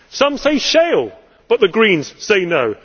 Some say shale, but the Greens say no.